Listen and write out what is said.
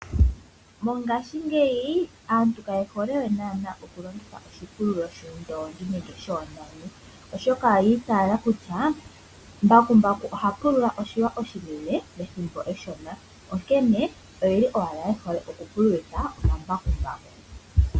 Mongashingeyi aantu kaye hole we okulongitha oshipululo shoondongi nenge shoonani oshoka oyi iitala kutya mbakumbaku ohaki pulula oshilwa oshinene pethimbo eshona onkene oye hole ashike okulongitha embakumbaku.